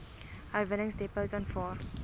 herwinningsdepots aanvaar